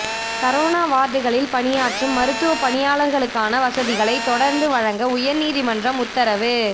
corona வாா்டுகளில் பணியாற்றும் மருத்துவப் பணியாளா்களுக்கான வசதிகளைத் தொடா்ந்து வழங்க உயா்நீதிமன்றம் உத்தரவு